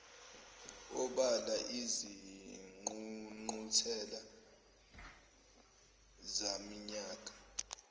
obala izingqungquthela zaminyaka